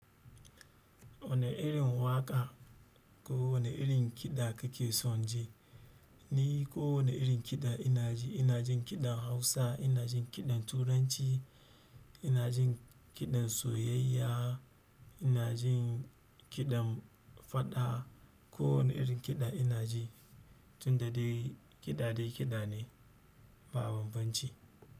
Wani irin waƙa ko wani irin kiɗa kake son ji? Ni kowani irin kiɗa ina ji. Ina jin kiɗan Hausa, ina jin kiɗan Turanci, ina jin kiɗan soyayya, ina jin kiɗan faɗa, kowani irin kiɗa ina ji. Tun da dai kiɗa dai kiɗa ne, ba bambanci.